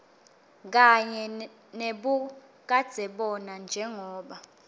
kanye nebukadzebona njengobe